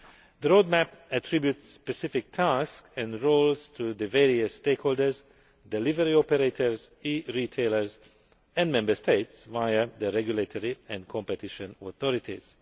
The roadmap attributes specific tasks and roles to the various stakeholders delivery operators, e retailers and Member States via their regulatory and competition authorities.